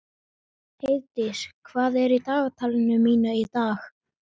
Heiðdís, hvað er í dagatalinu mínu í dag?